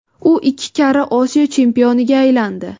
U ikki karra Osiyo chempioniga aylandi.